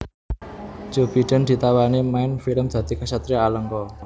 Joe Biden ditawani main film dadi ksatria Alengka